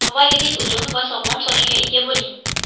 Avvalgidek uzun va sog‘lom sochga ega bo‘ling!.